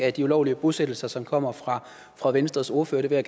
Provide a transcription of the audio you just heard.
af de ulovlige bosættelser som kommer fra fra venstres ordfører det vil